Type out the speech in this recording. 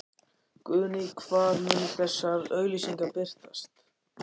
Guðný: Hvar munu þessar auglýsingar birtast?